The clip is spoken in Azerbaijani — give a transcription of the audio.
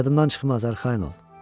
Yadımdan çıxmaz, arxayın ol.